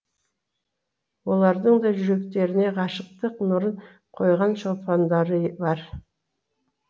олардың да жүректеріне ғашықтық нұрын құйған шолпандары бар